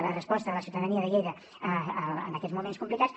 la resposta de la ciutadania de lleida en aquests moments complicats